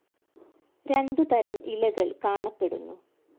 രണ്ടു തരം ഇലകൾ കാണപ്പെടുന്നു.